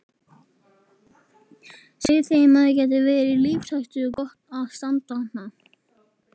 Segðu þeim að það geti verið lífshættulegt að standa þarna.